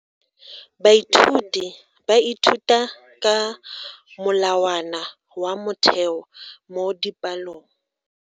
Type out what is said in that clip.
Baithuti ba ithuta ka molawana wa motheo mo dipalong.